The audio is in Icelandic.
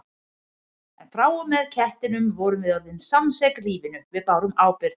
En frá og með kettinum vorum við orðin samsek lífinu, við bárum ábyrgð.